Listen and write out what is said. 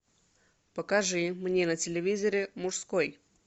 покажи мне на телевизоре мужской